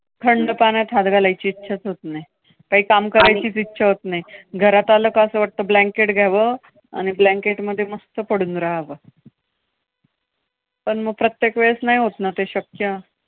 थंड पाण्यात हात घालायची इच्छाच होत नाय. काही काम करायचीच आणि इच्छा होत नाय. घरात आलं कि असं वाटतं blanket घ्यावं आणि ब्लॅंकेटमध्ये मस्त पडून राहावं. पण मग प्रत्येक वेळेस नाही होत ना ते शक्य.